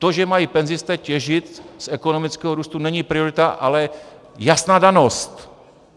To, že mají penzisté těžit z ekonomického růstu, není priorita, ale jasná danost.